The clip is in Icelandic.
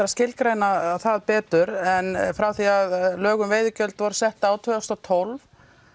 að skilgreina það betur en frá því að lög um veiðigjöld voru sett árið tvö þúsund og tólf